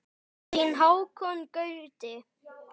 Þinn Hákon Gauti.